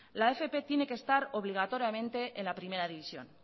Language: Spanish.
la fp tiene que estar obligatoriamente en la primera división